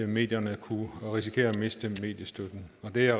medierne kunne risikere at miste mediestøtten og det er